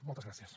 moltes gràcies